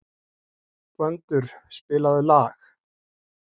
Gvöndur, spilaðu lag.